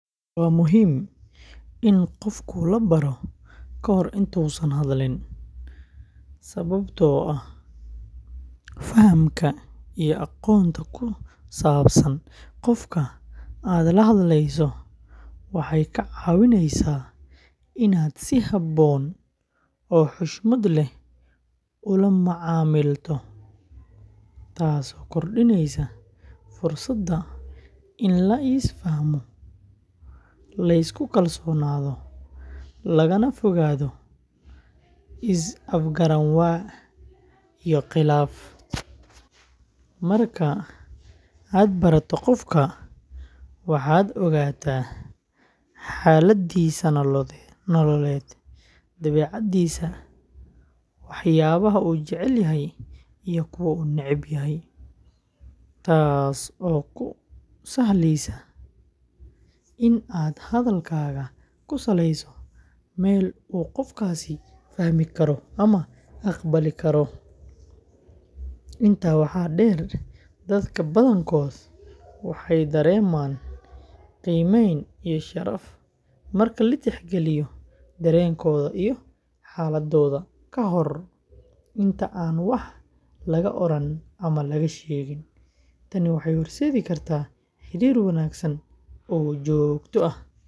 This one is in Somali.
Waa muhiim in qof la baro ka hor inta uusan hadlin, sababtoo ah fahamka iyo aqoonta ku saabsan qofka aad la hadlayso waxay kaa caawinaysaa in aad si habboon oo xushmad leh ula macaamilto, taasoo kordhinaysa fursadda in la is fahmo, la isku kalsoonaado, lagana fogaado is afgaran waa iyo khilaaf. Marka aad barato qofka, waxaad ogaataa xaaladdiisa nololeed, dabeecaddiisa, waxyaabaha uu jecel yahay iyo kuwa uu neceb yahay, taasoo kuu sahleysa in aad hadalkaaga ku saleeyso meel uu qofkaasi fahmi karo ama aqbali karo. Intaa waxaa dheer, dadka badankooda waxay dareemaan qiimeyn iyo sharaf marka la tixgeliyo dareenkooda iyo xaaladooda ka hor inta aan wax laga oran ama laga sheegin. Tani waxay horseedi kartaa xiriir wanaagsan oo joogto ah.